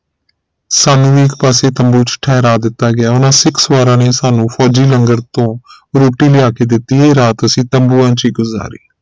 ਸਾਨੂ ਵੀ ਇਕ ਪਾਸੇ ਤੰਬੂ ਚ ਠਹਿਰਾ ਦਿੱਤਾ ਗਿਆ ਉਹਨਾਂ ਸਿੱਖ ਸਵਾਰਾ ਨੇ ਸਾਨੂ ਫੋਜ਼ੀ ਲੰਗਰ ਤੋਂ ਰੋਟੀ ਲਿਆ ਕੇ ਦਿਤੀ ਇਹ ਰਾਤ ਅਸੀਂ ਤੰਬੂਆਂ ਚ ਗੁਜ਼ਾਰੀ